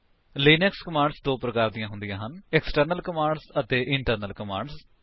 Linux commands ਦੋ ਪ੍ਰਕਾਰ ਦੀਆਂ ਹੁੰਦੀਆਂ ਹਨ160 ਏਕਸਟਰਨਲ ਕਮਾਂਡਸ ਅਤੇ ਇੰਟਰਨਲ ਕਮਾਂਡਸ